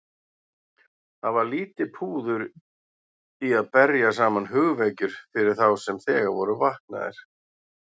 Það var lítið púður í að berja saman hugvekjur fyrir þá sem þegar voru vaknaðir.